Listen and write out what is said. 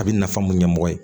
A bɛ nafa mun ɲɛmɔgɔ ye